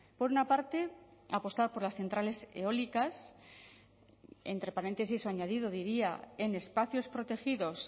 por una parte apostar por las centrales eólicas entre paréntesis o añadido diría en espacios protegidos